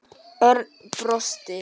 Örn brosti.